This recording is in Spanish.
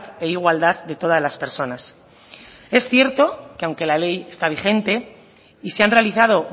e igualdad de todas las personas es cierto que aunque la ley está vigente y se han realizado